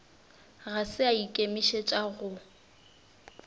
ga se a ikemišetša go